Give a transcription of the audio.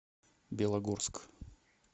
белогорск